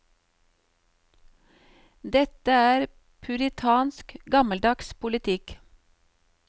Dette er puritansk, gammeldags politikk.